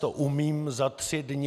To umím za tři dny.